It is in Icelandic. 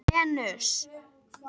Venus